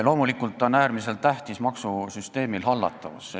Loomulikult on äärmiselt tähtis maksusüsteemi hallatavus.